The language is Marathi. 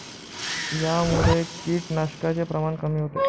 यामुळे किडनाशकाचे प्रमाण कमी होते.